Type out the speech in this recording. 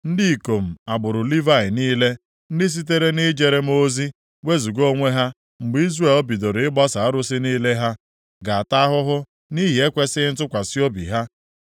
“ ‘Ndị ikom agbụrụ Livayị niile, ndị sitere nʼijere m ozi wezuga onwe ha mgbe Izrel bidoro ịgbaso arụsị niile ha, ga-ata ahụhụ nʼihi ekwesighị ntụkwasị obi ha.